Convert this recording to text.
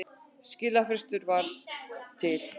Skilafrestur var til